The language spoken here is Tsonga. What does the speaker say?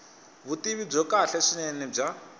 vutivi byo kahle swinene bya